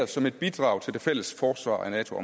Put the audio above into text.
som et bidrag til det fælles forsvar af nato